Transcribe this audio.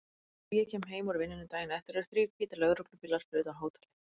Þegar ég kem heim úr vinnunni daginn eftir eru þrír hvítir lögreglubílar fyrir utan hótelið.